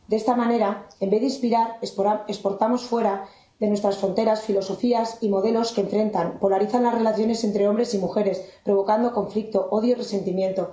De esta manera, en vez de inspirar, exportamos fuera de nuestras fronteras filosofías y modelos que enfrentan y polarizan las relaciones entre hombres y mujeres, provocando conflicto, odio y resentimiento.